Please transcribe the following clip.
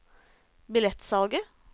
billettsalget